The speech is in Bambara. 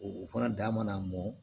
O fana da mana mɔ